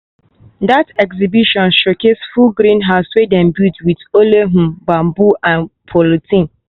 that exhibition showcase full greenhouse wey dem build with only um bamboo and polythene.